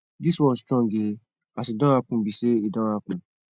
this world strong eeh as e don happen be say e don happen